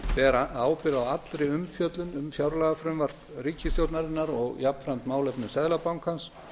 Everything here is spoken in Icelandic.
ber ábyrgð á allri umfjöllun um fjárlagafrumvarp ríkisstjórnarinnar og jafnframt málefni seðlabankans